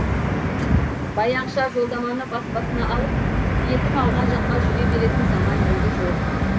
баяғыша жолдаманы бас басына алып бетің ауған жаққа жүре беретін заман енді жоқ